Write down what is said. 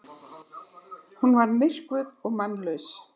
Hún var myrkvuð og mannlaus.